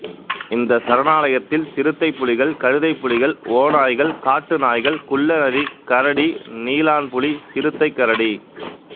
இந்த சரணாலயத்தில் சிறுத்தைப் புலிகள் கழுதைப் புலிகள் ஓநாய்கள் காட்டு நாய்கள் குள்ள நரி கரடி நீலான்புலி சிறுத்தை கரடி